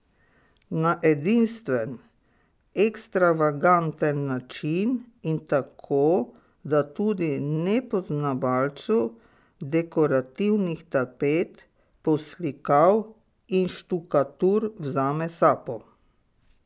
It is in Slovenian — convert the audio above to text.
Na edinstven, ekstravaganten način in tako, da tudi nepoznavalcu dekorativnih tapet, poslikav in štukatur vzame sapo.